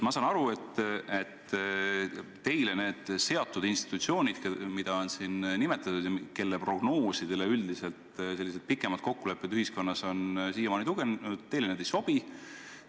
Ma saan aru, et need institutsioonid, mida on siin nimetatud ja kelle prognoosidele üldiselt sellised pikaajalised kokkulepped ühiskonnas on siiamaani tuginenud, teile ei sobi.